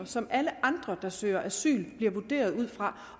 som alle andre der søger asyl bliver vurderet ud fra